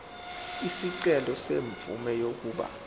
isicelo semvume yokuba